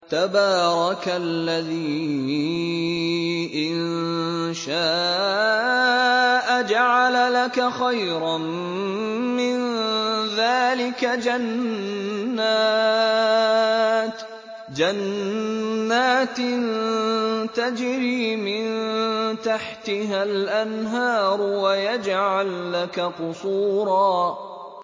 تَبَارَكَ الَّذِي إِن شَاءَ جَعَلَ لَكَ خَيْرًا مِّن ذَٰلِكَ جَنَّاتٍ تَجْرِي مِن تَحْتِهَا الْأَنْهَارُ وَيَجْعَل لَّكَ قُصُورًا